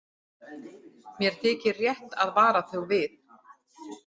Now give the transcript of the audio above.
Mér þykir rétt að vara þau við.